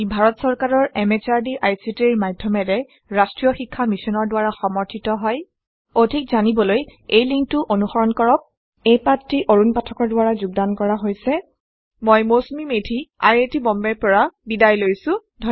ই ভাৰত চৰকাৰৰ MHRDৰ ICTৰ মাধয়মেৰে ৰাস্ত্ৰীয় শিক্ষা মিছনৰ দ্ৱাৰা সমৰ্থিত হয় অধিক জানিবলৈ এই লিঙ্ক টো অনুসৰন কৰক এই পাঠটি অৰুন পাঠকৰ দ্ৱৰা যোগদান কৰা হৈছে আই আই টী বম্বে ৰ পৰা মই মৌচুমী মেধী এতিয়া আপুনাৰ পৰা বিদায় লৈছো